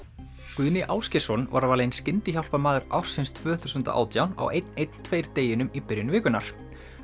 Guðni Ásgeirsson var valinn skyndihjálparmaður ársins tvö þúsund átján á einn einn tveir deginum í byrjun vikunnar